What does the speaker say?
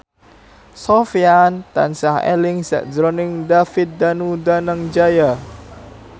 Sofyan tansah eling sakjroning David Danu Danangjaya